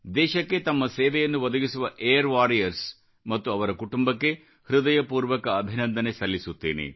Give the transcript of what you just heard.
ದೇಶಕ್ಕೆ ತಮ್ಮ ಸೇವೆಯನ್ನು ಒದಗಿಸುವ ಏರ್ ವಾರಿಯರ್ಸ್ ಮತ್ತು ಅವರ ಕುಟುಂಬಕ್ಕೆ ಹೃದಯಪೂರ್ವಕ ಅಭಿನಂದನೆ ಸಲ್ಲಿಸುತ್ತೇನೆ